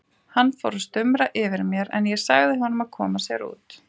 Hann fór að stumra yfir mér en ég sagði honum að koma sér út.